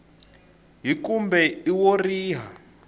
h kumbe i wo riha